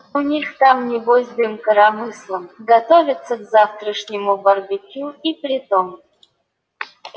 у них там небось дым коромыслом готовятся к завтрашнему барбекю и притом